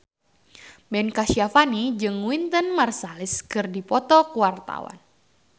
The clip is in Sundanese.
Ben Kasyafani jeung Wynton Marsalis keur dipoto ku wartawan